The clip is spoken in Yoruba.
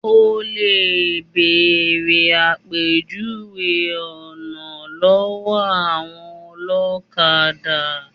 Olè béèrè àpèjúwe ọ̀nà lọ́wọ́ àwọn olọ́kadà.